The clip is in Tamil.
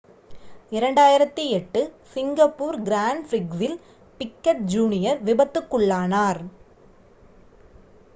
2008 சிங்கப்பூர் கிராண்ட் பிரிக்ஸில் பிக்கெட் ஜூனியர் விபத்துக்குள்ளானார்